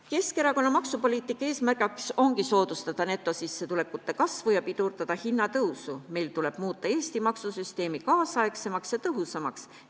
Keskerakonna maksupoliitika eesmärk ongi soodustada netosissetulekute kasvu ja pidurdada hinnatõusu, meil tuleb muuta Eesti maksusüsteem nüüdisaegsemaks ja tõhusamaks.